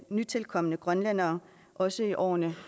nytilkomne grønlændere også i årene